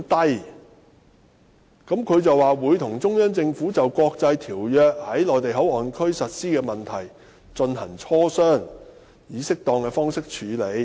"政府表示"會與中央政府就國際條約在'內地口岸區'的實施問題進行磋商，並以適當的方式處理。